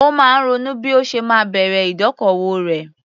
Ó máa ń ronú bí ó ṣe máa bẹ̀rẹ̀ ìdókòwò rẹ̀.